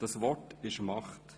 Das Wort ist Macht.